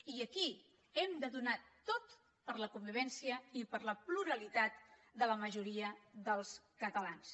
i aquí ho hem de donar tot per a la convivència i per a la pluralitat de la majoria dels catalans